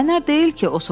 Qaynar deyil ki?